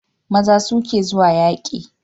Maza su ke zuwa yaƙi